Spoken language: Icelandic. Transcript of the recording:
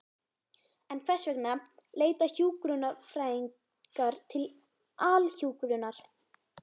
En hvers vegna leita hjúkrunarfræðingar til Alhjúkrunar?